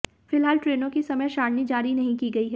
फिलहाल ट्रेनों की समय सारिणी जारी नहीं की गई है